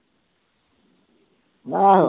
ਆਹੋ।